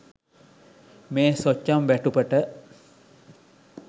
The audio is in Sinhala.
මේ සොච්චම් වැටුපට